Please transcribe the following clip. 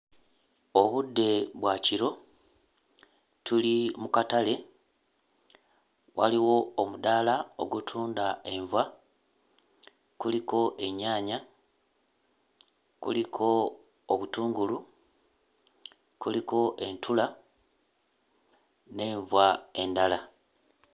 Obudde bwa kiro tuli mu katale waliwo omudaala ogutunda enva kuliko ennyaanya, kuliko obutungulu, kuliko entula n'enva endala.